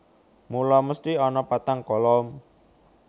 Mula mesthi ana patang kolom